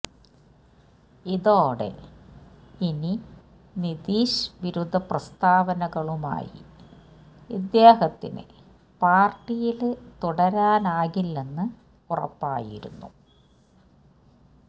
ഇതോടെ ഇനി നിതീഷ് വിരുദ്ധ പ്രസ്താവനകളുമായി ഇദ്ദേഹത്തിന് പാര്ട്ടിയില് തുടരാനാകില്ലെന്ന് ഉറപ്പായിരുന്നു